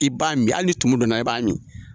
I b'a min hali ni tumu donna i b'a min o.